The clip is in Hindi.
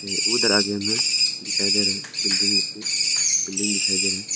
उधर आगे में दिखाई दे रहे हैं बिल्डिंग रूप में बिल्डिंग दिखाई दे रहा है।